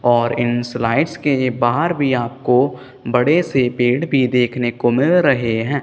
और इन स्लाइस के बाहर भी आपको बड़े से पेड़ भी देखने को मिल रहे हैं।